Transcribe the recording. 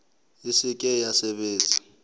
e se ke ya sebetsa